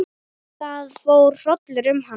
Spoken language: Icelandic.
Það fór hrollur um hana.